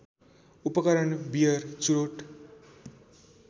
उपकरण बियर चुरोट